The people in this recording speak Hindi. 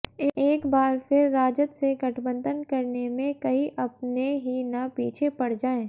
एक बार फिर राजद से गठबंधन करने में कहीं अपने ही न पीछे पड़ जाएं